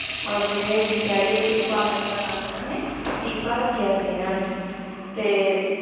ਮਤਲਬ ਜਿਹੜੇ ਅਸੀਂ ਕਹਿ ਲਇਏ ਬਾਲਕ ਦਾ ਨਾਮ ਇਹਨਾਂ ਨੇ ਦੀਪਾ ਰੱਖਿਆ ਸੀ ਇਹਨਾਂ ਨੇ ਤੇ